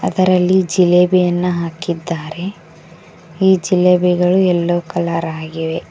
ಅದರಲ್ಲಿ ಜಿಲೇಬಿಯನ್ನು ಹಾಕಿದ್ದಾರೆ ಈ ಜೇಲಾಬಿಗಳು ಯಲ್ಲೋ ಕಲರ್ ಆಗಿವೆ.